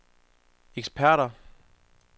eksperter